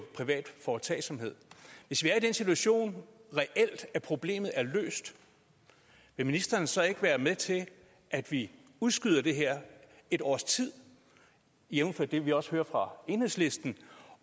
privat foretagsomhed hvis vi er i den situation at problemet reelt er løst vil ministeren så ikke være med til at vi udskyder det her et års tid jævnfør det vi også hører fra enhedslisten